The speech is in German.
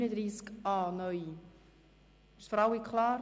– Ist es für alle klar?